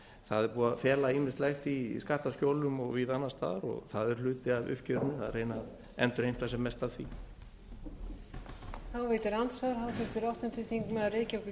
það er búið að fela ýmislegt í skattaskjólum og víða annars staðar og það er hluti af uppgjörinu að reyna að endurheimta sem mest af því